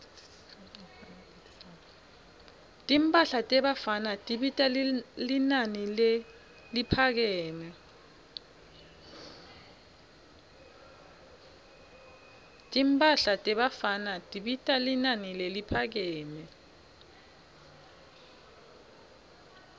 timphahla tebafana tibita linani leliphakeme